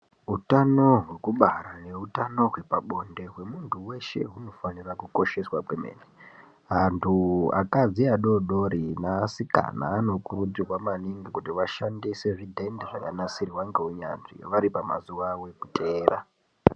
Utano hwekubara neutano hwepa bonde hwemuntu weshe hunofanirwa kukosheswa kwemene antu akadzi adodori neaasikana anokurudzirwa maningi kuti vashandise zvidhende zvakanasirwa ngeunyanzvi vari pamazuwa avo ekuteera.